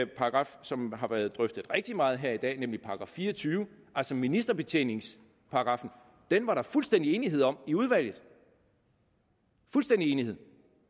paragraf som har været drøftet rigtig meget her i dag nemlig § fire og tyve altså ministerbetjeningningsparagraffen var der fuldstændig enighed om i udvalget fuldstændig enighed